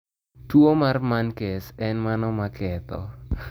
Tuo mar menkes en mano ma ketho